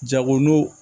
Jago n'u